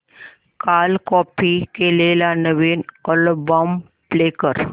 काल कॉपी केलेला नवीन अल्बम प्ले कर